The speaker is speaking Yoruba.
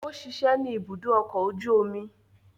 O ṣiṣẹ ni ìbùdó ọkọ oju omi